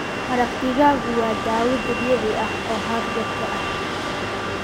Maraq digaagu waa dawo dabiici ah oo hargabka ah.